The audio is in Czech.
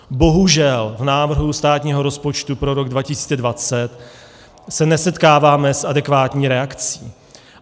Bohužel v návrhu státního rozpočtu pro rok 2020 se nesetkáváme s adekvátní reakcí.